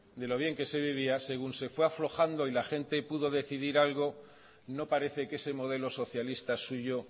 de lo bien que se vivía según se fue aflojando y la gente pudo decidir algo no parece que ese modelo socialista suyo